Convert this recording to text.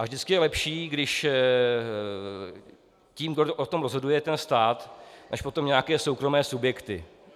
A vždycky je lepší, když tím, kdo o tom rozhoduje, je stát, než potom nějaké soukromé subjekty.